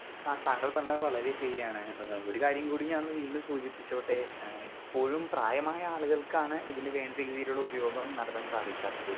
Speaker 2 ആ താങ്കൾ പറഞ്ഞത് വളരെ ശരിയാണ് ഏ ഒരു കാര്യം കൂടി ഞാനൊന്ന് വീണ്ടും സൂചിപ്പിച്ചോട്ടെ ഏ ഇപ്പോഴും പ്രായമായ ആളുകൾക്കാണ് ഇതിന്റെ വേണ്ട രീതിയിലുള്ള ഉപയോഗം നടത്താൻ സാധിക്കാത്തത്‌.